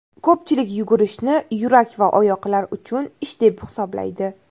Ko‘pchilik yugurishni yurak va oyoqlar uchun ish deb hisoblaydi.